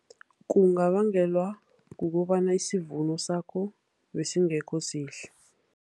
Kungabangelwa kukobana isivuno sakho besingekhosihle.